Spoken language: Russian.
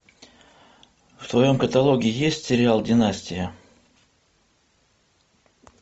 в твоем каталоге есть сериал династия